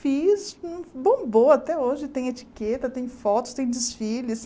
Fiz, bombou até hoje, tem etiqueta, tem fotos, tem desfiles.